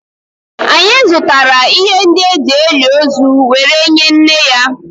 anyị zụtara ihe ndị e ji eli ozu were nye nne ya